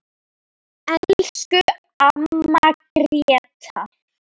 Elsku amma Gréta.